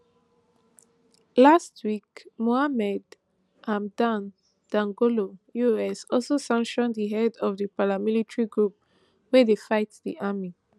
last week mohamed hamdan dagalo us also sanction di head of di paramilitary group wey dey fight di army